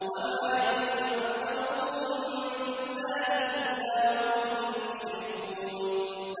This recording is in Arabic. وَمَا يُؤْمِنُ أَكْثَرُهُم بِاللَّهِ إِلَّا وَهُم مُّشْرِكُونَ